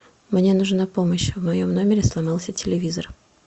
мне нужна помощь в моем номере сломался телевизор